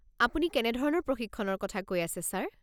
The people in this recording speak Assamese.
আপুনি কেনেধৰণৰ প্ৰশিক্ষণৰ কথা কৈ আছে ছাৰ?